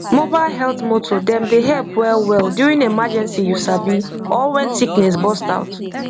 mobile health motor dem dey help wellwell during emergency you sabi or when sickness burst out